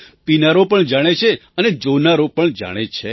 પીનારો પણ જાણે છે અને જોનારો પણ જાણે છે